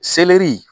Selɛri